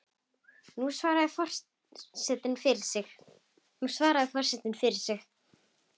Nú svarar forseti fyrir sig.